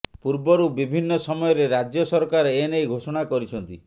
ପୂର୍ବରୁ ବିଭିନ୍ନ ସମୟରେ ରାଜ୍ୟ ସରକାର ଏନେଇ ଘୋଷଣା କରିଛନ୍ତି